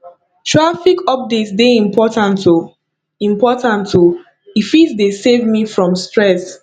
traffic update dey important o important o e fit dey save me from stress